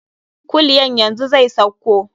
Kulyan yanzu zai sauko.